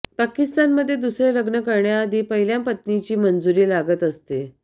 पाकिस्तानमध्ये दुसरे लग्न करण्याआधी पहिल्या पत्नीची मंजुरी लागत असते